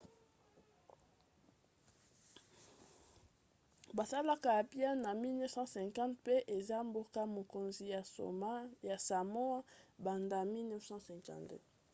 basalaka apia na 1850 mpe eza mboka-mokonzi ya samoa banda 1959